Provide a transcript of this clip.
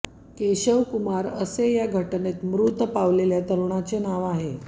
केशव कुमार असे या घटनेत मृत पावलेल्या तरुणाचे नाव आहे